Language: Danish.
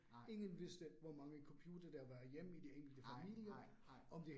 Nej. Nej nej nej